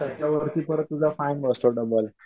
त्याच्यावरती परत तुझा फाईन बसतो डबल.